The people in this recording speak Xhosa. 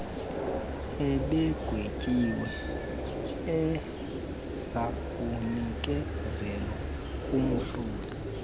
ebegwetyiwe ezakunikezelwa kumhloli